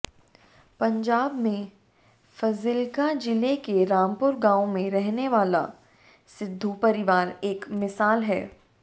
पंजाब में फज़िल्का जिले के रामपुर गाँव में रहने वाला सिद्धू परिवार एक मिसाल है